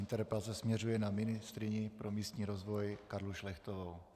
Interpelace směřuje na ministryni pro místní rozvoj Karlu Šlechtovou.